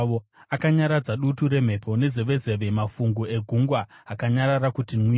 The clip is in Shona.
Akanyaradza dutu remhepo nezevezeve; mafungu egungwa akanyarara kuti mwiro.